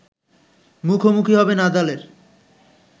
মুখোমুখি হবে নাদালের